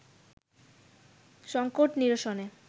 সংকট নিরসনে